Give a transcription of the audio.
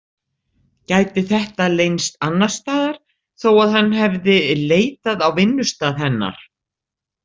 Gæti þetta leynst annarstaðar þó að hann hefði leitað á vinnustað hennar?